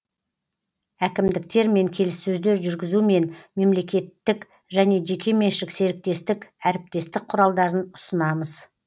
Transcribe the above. әкімдіктермен келіссөздер жүргізу мен мемлекеттік және жекеменшік серіктестік әріптестік құралдарын ұсынамыз